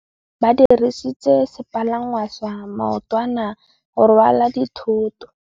Ba dirisitse sepalangwasa maotwana go rwala dithôtô.